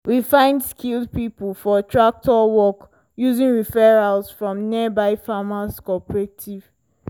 we find skilled people for tractor work using referrals from nearby farmer cooperatives.